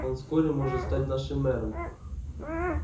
он вскоре может стать нашим мэром